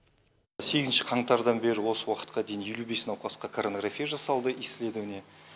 сегізінші қаңтардан бері осы уақытқа дейін елу бес науқасқа коронарография жасалды исследование